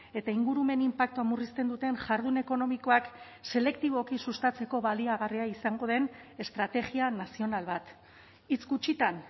eta ingurumen inpaktua murrizten duten jardun ekonomikoak selektiboki sustatzeko baliagarria izango den estrategia nazional bat hitz gutxitan